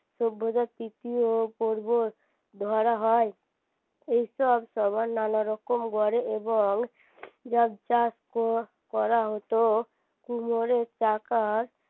সভ্যতার তৃতীয় পর্ব ধরা হয় এসব সবার নানা রকম ঘরে এবং করা হতো কুমোরের চাকার